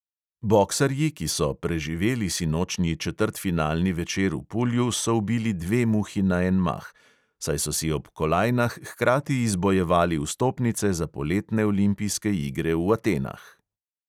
Boksarji, ki so "preživeli" sinočnji četrtfinalni večer v pulju, so ubili dve muhi na en mah, saj so si ob kolajnah hkrati izbojevali vstopnice za poletne olimpijske igre v atenah.